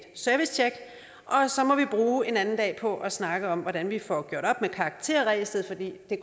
servicetjek og så må vi bruge en anden dag på at snakke om hvordan vi får gjort op med karakterræset for det